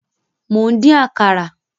Mò ń dín Àkàrà